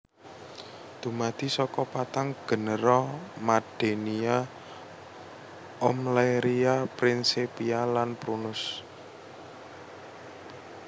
Dumadi saka patang genera Maddenia Oemleria Prinsepia lan Prunus